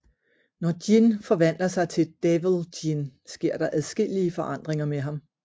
Når Jin forvandler sig til Devil Jin sker der adskillige forandringer med ham